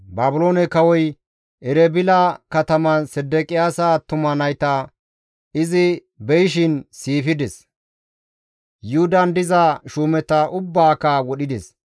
Baabiloone kawoy Erebila kataman Sedeqiyaasa attuma nayta izi beyishin siifides; Yuhudan diza shuumeta ubbaaka wodhides.